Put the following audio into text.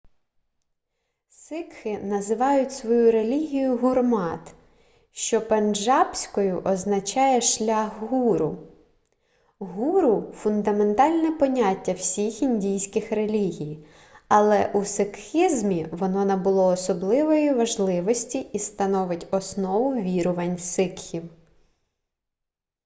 сикхи називають свою релігію гурмат що пенджабською означає шлях гуру гуру фундаментальне поняття всіх індійських релігій але у сикхізмі воно набуло особливої важливості і становить основу вірувань сикхів